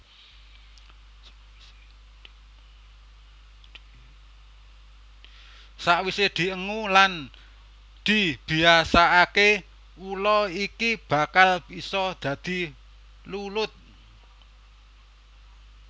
Sakwisé diengu lan dibiasakaké ula iki bakal isa dadi lulut